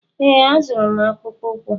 Ee, azụrụ m akpụkpọ ụkwụ!